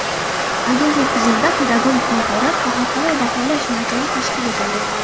Agentlik huzurida Pedagogik mahorat va xalqaro baholash markazi tashkil etildi.